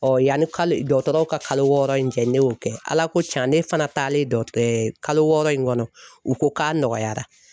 yanni dɔgɔtɔrɔw ka kalo wɔɔrɔ in cɛ ne y'o kɛ Ala ko can ne fana taalen dɔ kalo wɔɔrɔ in kɔnɔ u ko k'a nɔgɔyara.